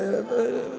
Aa, ei!